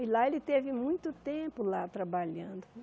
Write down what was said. E lá ele teve muito tempo, lá, trabalhando.